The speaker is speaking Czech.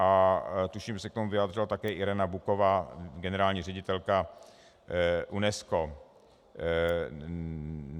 A tuším, že se k tomu vyjádřila také Irina Bokovová, generální ředitelka UNESCO.